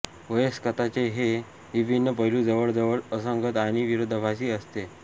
वयस्कता चे हे विभिन्न पैलू जवळ जवळ असंगत आणि विरोधाभासी असते